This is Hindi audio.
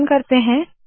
संकलन करते है